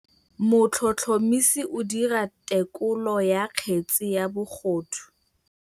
Motlhotlhomisi o dira têkolô ya kgetse ya bogodu.